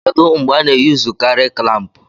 Kedu mgbe a na-eyuzukari klampu?